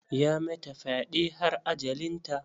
Ya mata fyɗe har ajalinta.